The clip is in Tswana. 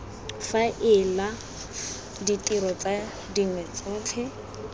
faela ditiro tse dingwe tsotlhe